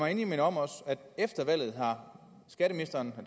endelig minde om at efter valget har skatteministeren